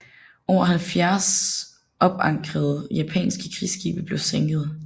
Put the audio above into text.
Over 70 opankrede japanske krigsskibe blev sænket